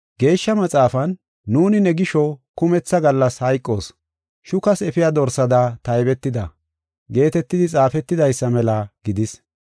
Geeshsha Maxaafan, “Nuuni ne gisho kumetha gallas hayqoos; shukas efiya dorsada taybetida” geetetidi xaafetidaysa mela gidis.